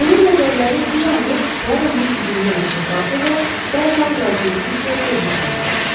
Onun nəzərləri bir anlıq Puaronun üzündə ilişib qalsa da, dərhal laqeydliklə gözünü çəkdi.